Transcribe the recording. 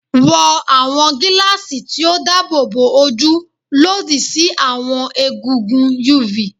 Wọ awọn gilaasi ti o daabobo oju lodi si awọn egungun UV